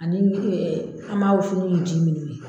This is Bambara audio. Ani an b'a wusu ni nin ji minnu ye.